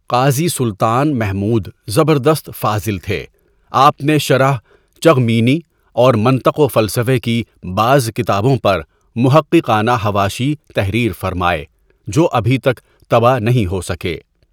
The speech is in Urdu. قاضی سلطان محمود زبردست فاضل تھے آپ نے شرح چغمینی اور منطق و فلسفہ کی بعض کتابوں پر محققانہ حواشی تحریر فرمائے جو ابھی تک طبع نہیں ہو سکے.